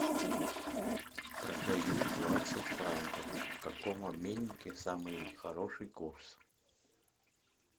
продаю двадцать франков в каком обменнике самый хороший курс